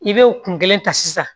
I bɛ o kun kelen ta sisan